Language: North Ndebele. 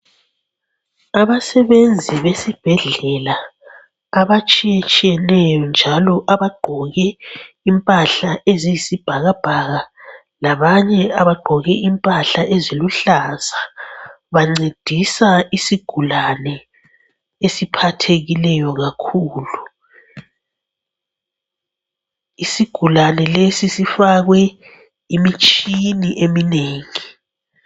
Abasebenzi besibhedlela abatshiyetshiyeneyo njalo abagqoke impahla eziyisibhakabhaka, labanye abagqoke impahla eziluhlaza. Bancedisa isigulane esiphathekileyo kakhulu. Isigulane lesi sifakwe imitshini eminengi.